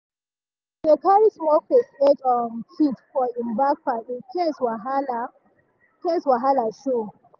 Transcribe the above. e dey carry small first aid um kit for im backpack in case wahala case wahala show.